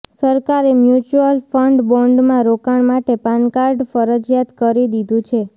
સરકારે mutual fund બોન્ડમાં રોકાણ માટે પાન કાર્ડ ફરજીયાત કરી દીધું છે